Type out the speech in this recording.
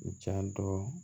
U janto